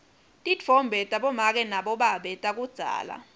titfombe tabomake nabobabe takudzala